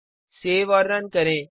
save और run करें